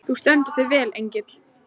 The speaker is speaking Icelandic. Þú stendur þig vel, Engill!